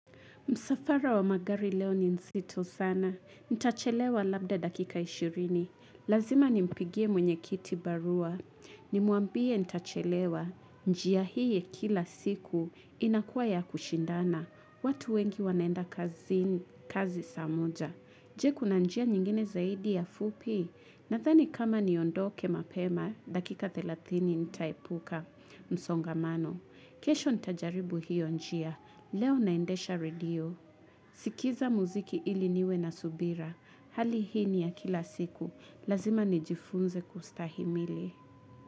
Msafara wa magari leo ni nzito sana. Ntachelewa labda dakika 20. Lazima ni mpigie mwenye kiti barua. Ni muambie ntachelewa. Njia hii kila siku inakuwa ya kushindana. Watu wengi wanaenda kazi saa moja. Nje kuna njia nyingine zaidi ya fupi. Nadhani kama niondoke mapema, dakika 30 nitaepuka msongamano. Kesho ntajaribu hiyo njia. Leo naendesha radio. Sikiza muziki ili niwe na subira. Hali hii ni ya kila siku. Lazima nijifunze kustahimili.